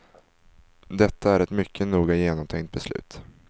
Detta är ett mycket noga genomtänkt beslut.